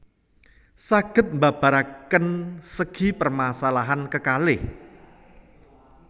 Saged mbabaraken segi permasalahan kekalih